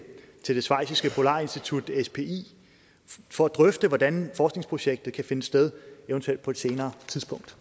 det schweiziske polarinstitut spi for at drøfte hvordan forskningsprojektet kan finde sted eventuelt på et senere tidspunkt